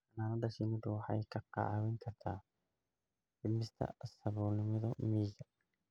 Xannaanada shinnidu waxay kaa caawin kartaa dhimista saboolnimada miyiga.